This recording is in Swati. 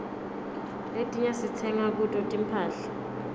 letinye sitsenga kuto tinphahla